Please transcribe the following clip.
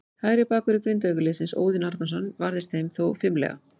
Hægri bakvörður Grindavíkurliðsins, Óðinn Árnason, varðist þeim þó fimlega.